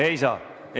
Ei saa.